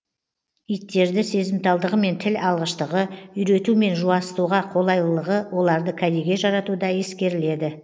иттерді сезімталдығы мен тіл алғыштығы үйрету мен жуасытуға қолайлылығы оларды кәдеге жаратуда ескеріледі